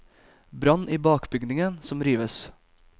Brann i bakbygningen, som rives.